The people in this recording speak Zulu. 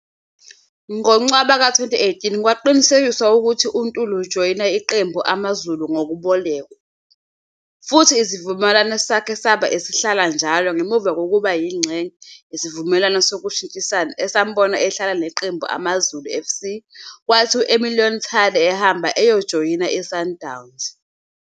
Ngo-Ncwaba ka 2018, kwaqinisekiswa ukuthi uNtuli usejoyine iqembu AmaZulu ngokubolekwa, futhi isivumelwano sakhe saba esihlala njalo ngemuva kokuba yingxenye yesivumelwano sokushintshisana esambona ehlala neqembu AmaZulu fc kwathi U-Emiliano Tade ehamba eyojoyina iSundowns.